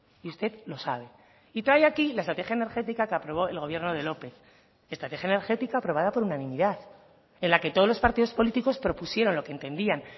y usted lo sabe y trae aquí la estrategia energética que aprobó el gobierno de lópez estrategia energética aprobada por unanimidad en la que todos los partidos políticos propusieron lo que entendían